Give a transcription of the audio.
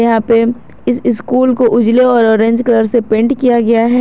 यहां पे इस स्कूल को उजले और ऑरेंज कलर से पेंट किया गया है।